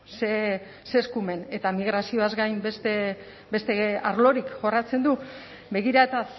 zer eskumen eta migrazioaz gain beste arlorik jorratzen du begira eta